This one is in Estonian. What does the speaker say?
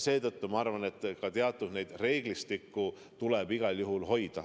Seetõttu ma arvan, et ka teatud reeglistikku tuleb igal juhul hoida.